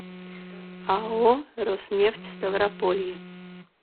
ао роснефть ставрополье